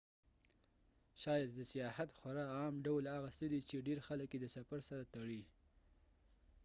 شاید د سیاحت خورا عام ډول هغه څه دی چې ډیر خلک یې د سفر سره تړي